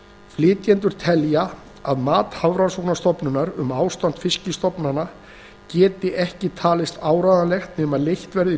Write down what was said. flytjendur telja að mat hafrannsóknastofnunarinnar um ástand fiskstofna geti ekki talist áreiðanlegt nema leitt verði í